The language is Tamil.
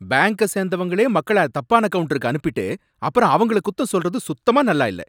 பாங்க சேந்தவங்களே மக்கள தப்பான கவுண்டருக்கு அனுப்பிட்டு அப்பறம் அவங்கள குத்தம் சொல்றது சுத்தமா நல்லா இல்ல.